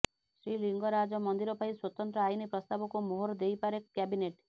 ଶ୍ରୀଲିଙ୍ଗରାଜ ମନ୍ଦିର ପାଇଁ ସ୍ୱତନ୍ତ୍ର ଆଇନ ପ୍ରସ୍ତାବକୁ ମୋହର ଦେଇପାରେ କ୍ୟାବିନେଟ